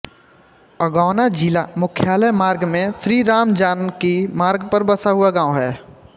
अगौना जिला मुख्यालय मार्ग में श्रीरामजानकी मार्ग पर बसा हुआ गांव है